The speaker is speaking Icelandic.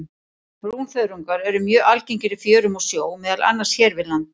Brúnþörungar eru mjög algengir í fjörum og sjó, meðal annars hér við land.